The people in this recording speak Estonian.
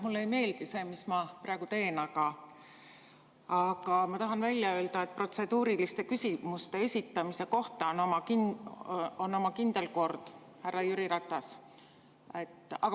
Mulle ei meeldi see, mis ma praegu teen, aga ma tahan välja öelda, et protseduuriliste küsimuste esitamiseks on oma kindel kord, härra Jüri Ratas.